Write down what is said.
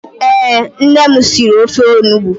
Ee, nne m siri ofe onugbu.